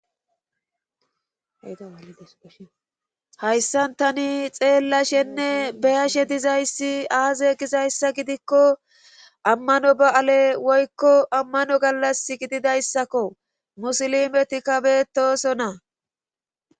aashayssan tani xeellashenne beyashe dizayssi aaze gizayssa gidikko ammano ba7ale woykko ammano gallas gididayssakko musilimeti kabetosona